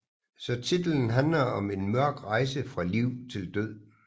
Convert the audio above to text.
Så titlen handlede om en mørk rejse fra liv til død